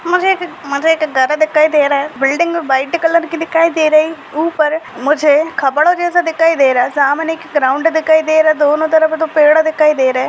मुझे एक माला एक दिखाई दे रहा है बिल्डिंग व्हाइट कलर दिखाई दे रहा है ऊपर मुझे जैसा दिखाई दे रहा है सामने एक ग्राउंड दिखाई दे रहा है दोनों तरफ़ एक पेड़ दिखाई दे रहा है।